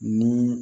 Ni